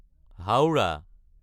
Howrah